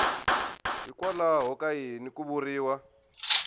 hikwalaho ka yini ku vuriwa